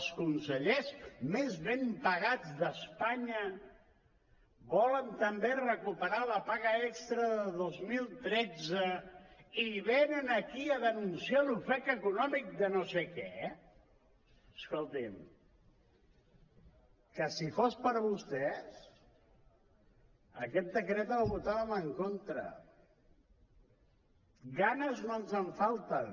els consellers més ben pagats d’espanya volen també recuperar la paga extra de dos mil tretze i venen aquí a denunciar l’ofec econòmic de no sé què escolti’m que si fos per vostès a aquest decret hi votàvem en contra de ganes no ens en falten